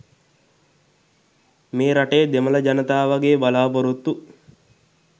මේ රටේ දෙමළ ජනතාවගේ බලාපොරොත්තු